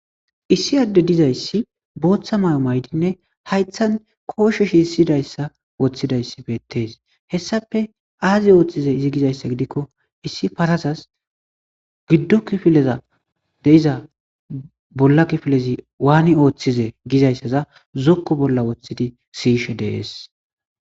Issi adde dizayssi booththa mayo mayidinne hayththan qooshe shiishshidayssa woththida isi beeththees; hessappe aazee uththizay gizeyssa gidikko issi parazas giddo kifleza de7iza bolla kifilezi waani ooththizee gizayssatha zokko bolla woththidi siyishe de7ees.